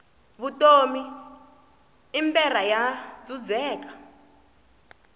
vutomi i mberha bya dzudzeka